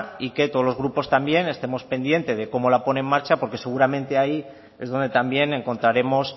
y que todos los grupos también estemos pendientes de cómo la pone en marcha porque seguramente ahí es donde también encontraremos